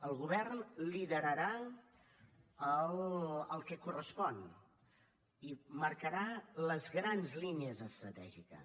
el govern liderarà el que correspon i marcarà les grans línies estratègiques